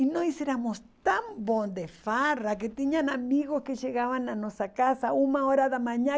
E nós éramos tão bons de farra que tinham amigos que chegavam na nossa casa uma hora da manhã.